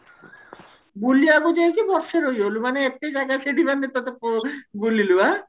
ବୁଲିବାକୁ ଯାଇକି ବର୍ଷେ ରହିଗଲୁ ମାନେ ଏତେ ଜାଗା ସେଠି ମାନେ ତତେ ପ ବୁଲିଲୁ ଆଁ